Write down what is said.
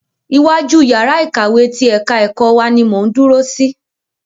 Iwájú yàrá ìkàwé ti ẹ̀ka ẹ̀kọ́ wa ni mò ń dúró sí.